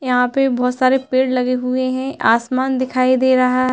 यहां पर बहोत सारे पेड़ लगे हुए हैं। आसमान दिखाई दे रहा --